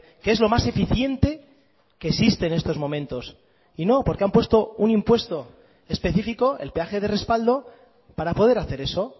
que es lo más eficiente que existe en estos momentos y no porque han puesto un impuesto específico el peaje de respaldo para poder hacer eso